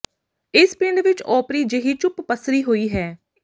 ਇਸ ਪਿੰਡ ਵਿਚ ਓਪਰੀ ਜਿਹੀ ਚੁੱਪ ਪੱਸਰੀ ਹੋਈ ਹੈ